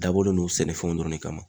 Dabɔlen don sɛnɛfɛnw dɔrɔn ne kama.